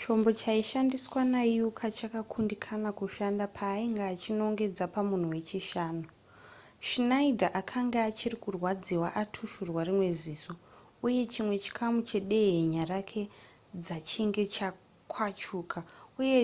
chombo chaishandiswa nauka chakakundikana kushanda paainge achinongedza pamunhu wechishanu schneider akanga achiri kurwadziwa atushurwa rimwe ziso uye chimwe chikamu chedehenya rake dzachinge chakwachuka uye